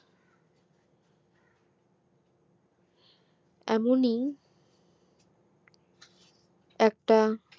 এমনই একটা